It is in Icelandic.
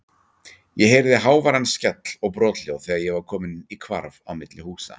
Ég heyrði háværan skell og brothljóð þegar ég var kominn í hvarf á milli húsa.